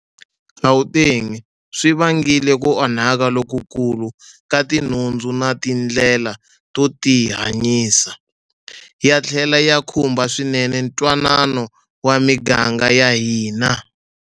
Gauteng swi vangile ku onhaka lokukulu ka tinhundzu na tindlela to tihanyisa, ya tlhele ya khumba swinene ntwanano wa miganga ya hina.